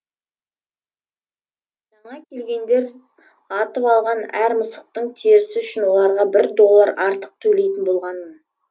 жаңа келгендер атып алған әр мысықтың терісі үшін оларға бір доллар артық төлейтін болғанмын